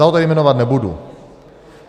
Já ho tady jmenovat nebudu.